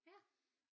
Ja